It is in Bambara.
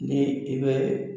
Ni i bɛ